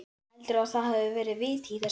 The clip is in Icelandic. Heldurðu að það hafi verið vit í þessu?